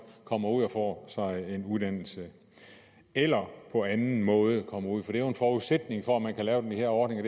kommer ud og får sig en uddannelse eller på anden måde kommer ud for det er jo en forudsætning for at man kan lave den her ordning